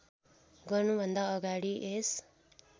गर्नुभन्दा अगाडि यस